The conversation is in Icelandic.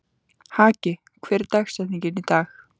Haki, hver er dagsetningin í dag?